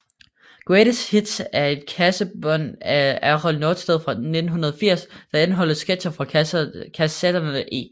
Greatest Hits er et kassettebånd af Errol Norstedt fra 1980 der indeholder sketcher fra kassetterne E